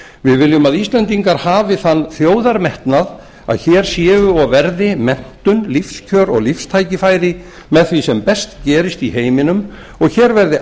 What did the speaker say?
við viljum að íslendingar hafi þann þjóðarmetnað að hér séu og verði menntun lífskjör og lífstækifæri með því sem best gerist í heiminum og hér verði